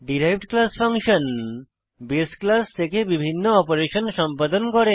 derived class function বাসে class থেকে বিভিন্ন অপারেশন সম্পাদন করে